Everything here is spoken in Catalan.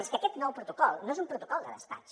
és que aquest nou protocol no és un protocol de despatx